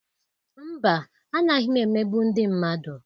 Mba, anaghị m emegbu ndị mmadu.